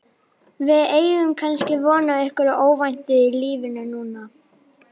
Við eigum kannski von á einhverju óvæntu í lífinu núna?